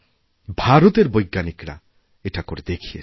ভারতের বৈজ্ঞানিকরা এটা করে দেখিয়েছেন